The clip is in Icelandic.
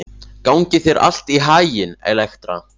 Gangi þér allt í haginn, Elektra.